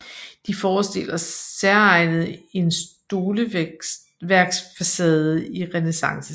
De forestiller særegent en stoleværksfacade i renæssancestil